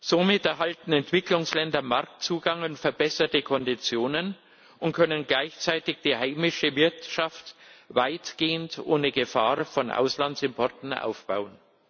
Somit erhalten Entwicklungsländer Marktzugang und verbesserte Konditionen und können gleichzeitig die heimische Wirtschaft weitgehend ohne Gefahr von Auslandsimporten aufbauen.